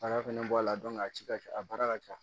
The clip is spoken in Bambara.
Baara fɛnɛ bɔ a la a ci ka ca a baara ka ca